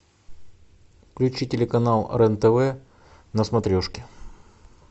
включи телеканал рен тв на смотрешке